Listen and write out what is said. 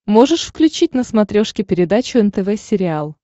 можешь включить на смотрешке передачу нтв сериал